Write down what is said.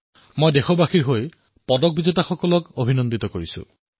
মই দেশৰ বাবে পদক বিজেতা সকলো খেলুৱৈক অভিনন্দন জনাইছোঁ